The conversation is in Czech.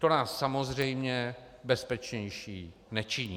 To nás samozřejmě bezpečnější nečiní.